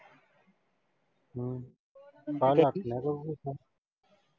ਹਮ ਮਖਾਂ ਲਿਆ ਤੀਆਂ .